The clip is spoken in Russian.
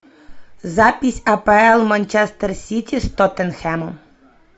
запись апл манчестер сити с тоттенхэмом